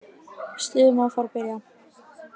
Stuðið má fara að byrja.